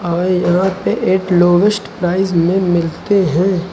और यहां पे एक लोएस्ट प्राइस में मिलते हैं।